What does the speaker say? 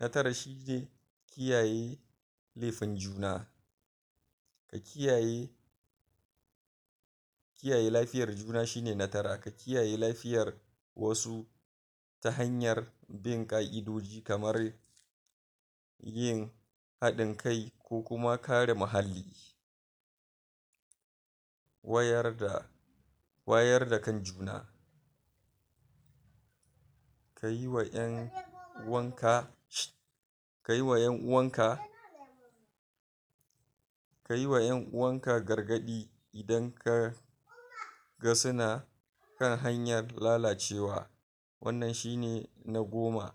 na tara shi ne kiyaye nesan juna ka kiyaye kiyaye lafiyar juna shine na tara, ka kiyaye lafiyar wasu ta hanyar bin ƙa'idoji kamar yin haɗin kai ko kuma kare muhalli wayar da wayar da kan juna ka yi wa ƴan'uwan ka kai wa ƴan'uwan ka ka yi wa ƴan'uwan ka gargaɗi idan ka ga suna kan hanyar lalacewa wannan shi ne na goma.